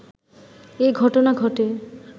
এঘটনা ঘটে